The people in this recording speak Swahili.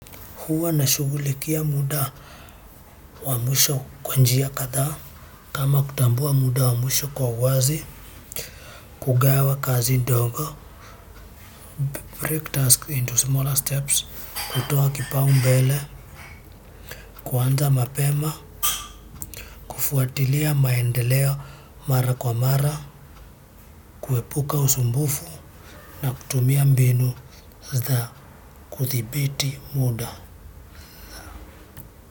Huwa nashugulikia muda wa mwisho kwa njia kadhaa kama kutambua muda wa mwisho kwa uwazi kugawa kazi ndongo break task into smaller steps kutoa kipaumbele kuanza mapema kufuatilia maendeleo mara kwa mara kuepuka usumbufu na kutumia mbinu za kuthibiti muda.